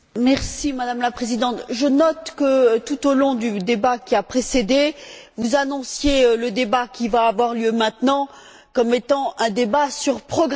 Madame la Présidente, je note que, tout au long du débat qui a précédé, vous annonciez le débat qui va avoir lieu maintenant comme étant un débat sur Progress.